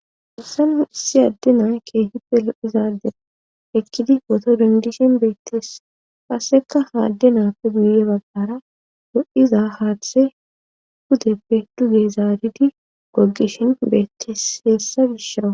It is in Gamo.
darsanu issi adde naa keehippe lo7izaadder ekkidi woto dindishin beetteess qasseka haadde naappe guyye baggara do7iza haaththe hudeppe duge zaadidi gogishin beetteseessa gishawa